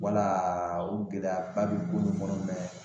Walaa o gɛlɛyaba be ko nin kɔnɔ mɛ